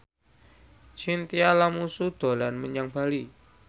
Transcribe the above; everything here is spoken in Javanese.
Chintya Lamusu dolan menyang Bali